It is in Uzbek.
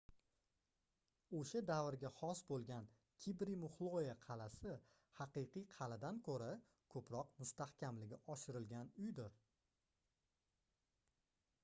oʻsha davrga xos boʻlgan kibri muxloe qalʼasi haqiqiy qalʼadan koʻra koʻproq mustahkamligi oshirilgan uydir